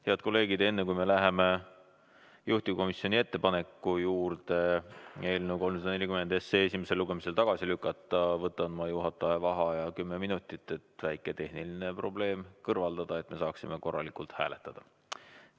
Head kolleegid, enne kui läheme juhtivkomisjoni ettepaneku juurde eelnõu 340 esimesel lugemisel tagasi lükata, võtan ma kümneminutilise juhataja vaheaja, et väike tehniline probleem kõrvaldada ja me saaksime korralikult hääletada.